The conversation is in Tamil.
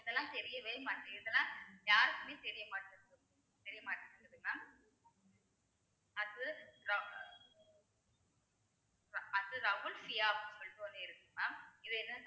இதெல்லாம் தெரியவே மாட்டே~ இதெல்லாம் யாருக்குமே தெரியமாட்டேங்குது தெரியமாட்டேங்குது mam அடுத்து ரா~ ரா~ அடுத்தது அப்படின்னு சொல்லிட்டு ஒண்ணு இருக்கு mam இது என்~